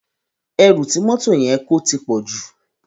Èrú ti mòtó yèn kó tipòjú